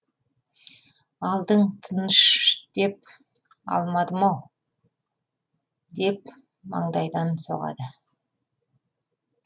алдың тыныш деп алмадым ау деп маңдайдан соғады